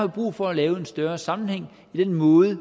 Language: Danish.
brug for at lave en større sammenhæng i den måde